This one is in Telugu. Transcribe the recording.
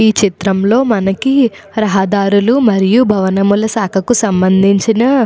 ఈ చిత్రంలో మనకి రహదారులు మరియు భవనముల శాఖకు సంబంధించిన --